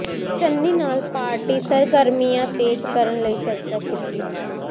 ਚੰਨੀ ਨਾਲ ਪਾਰਟੀ ਸਰਗਰਮੀਆਂ ਤੇਜ਼ ਕਰਨ ਲਈ ਚਰਚਾ ਕੀਤੀ